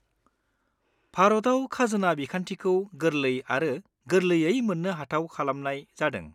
भारताव खाजोना बिखान्थिखौ गोरलै आरो गोरलैयै मोननो हाथाव खालामनाय जादों।